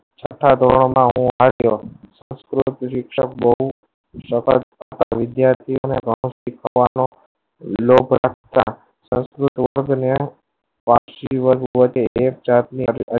છટ્ટા ધોરણ માં અને આવ્યો શિક્ષક બહુ વિદ્યાર્થિયો ને નવું શીખવાનો લોભ હતા બન્યા વાર્ષિક જીવન વધે